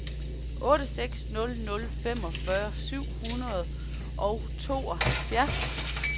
otte seks nul nul femogfyrre syv hundrede og tooghalvfjerds